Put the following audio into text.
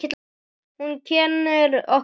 Hún kennir okkur mikið.